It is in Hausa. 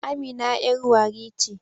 Amina yar warri ce